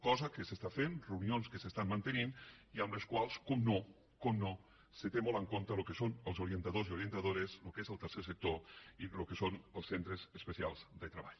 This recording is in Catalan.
cosa que s’està fent reunions que s’estan mantenint i en les quals per descomptat per descomptat es té molt en compte el que són els orientadors i orientadores el que és el tercer sector i el que són els centres especials de treball